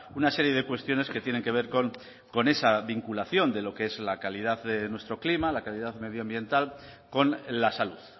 una serie de cuestiones que tienen que ver con esa vinculación de lo que es la calidad de nuestro clima la calidad medioambiental con la salud